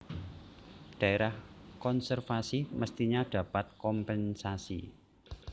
Daerah Konservasi Mestinya Dapat Kompensasi